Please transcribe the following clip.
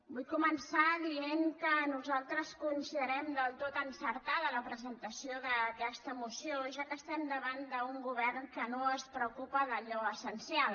vull començar dient que nosaltres considerem del tot encertada la presentació d’aquesta moció ja que estem davant d’un govern que no es preocupa d’allò essencial